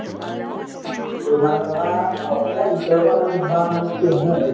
তো মানে ধৰা অসমৰ ভিতৰৰ পৰাই মানে ধৰা মানে কি হয় ন